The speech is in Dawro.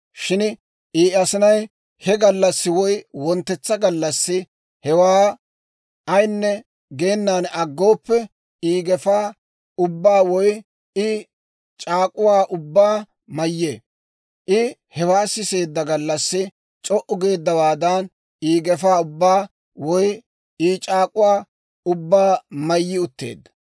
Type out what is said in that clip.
Shin I asinay he gallassi woy wonttetsa gallassi hewaa ayinne geenan aggooppe, I gefaa ubbaa woy I c'aak'uwaa ubbaa mayyee. I hewaa siseedda gallassi c'o"u geeddawaadan I gefaa ubbaa woy I c'aak'uwaa ubbaa mayyi utteedda.